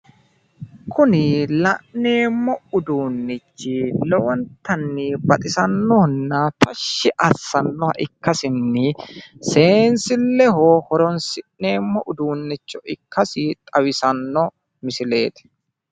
Kuni la'neemmo uduunnichi, lowontanni baxisannohonna tashshi assannoha ikkasinni, seenssilleho horonssi'neemmo uduunnicho ikkasi xawisanno misileeti.